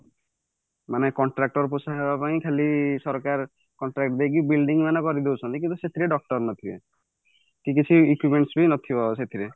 ମାନେ contractor post ରେ ରହିବା ପାଇଁ ଖାଲି ସରକାର contract ଦେଇକି building ମାନ କରିଦଉଛନ୍ତି କିନ୍ତୁ ସେଥିରେ doctor ନଥିବେ କିନ୍ତୁ ସେ ନଥିବ ସେଥିରେ